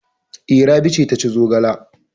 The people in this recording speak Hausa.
E, Rabi ce ta ci zogala.